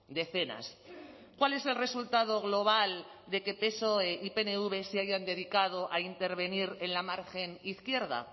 decenas cuál es el resultado global de que psoe y pnv se hayan dedicado a intervenir en la margen izquierda